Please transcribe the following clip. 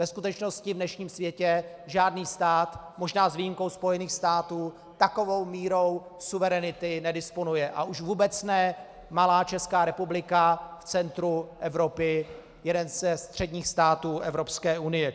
Ve skutečnosti v dnešním světě žádný stát, možná s výjimkou Spojených států, takovou mírou suverenity nedisponuje, a už vůbec ne malá Česká republika v centru Evropy, jeden ze středních států Evropské unie.